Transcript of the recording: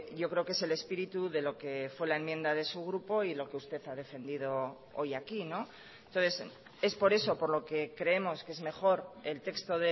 yo creo que es el espíritu de lo que fue la enmienda de su grupo y lo que usted ha defendido hoy aquí entonces es por eso por lo que creemos que es mejor el texto